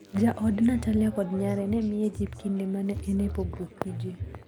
Jaod Natalya kod nyare ne miye jip kinde ma ne en e pogruok gi ji.